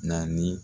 Naani